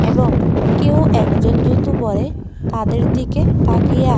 এবং কেউ একজন জুতো পড়ে তাদের দিকে তাকিয়ে আ--